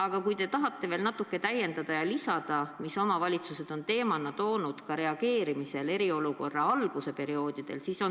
Vahest te tahate seda natuke selgitada ja ka lisada, mis teemasid omavalitsused on esile toonud, viidates eriolukorra algusperioodi muredele.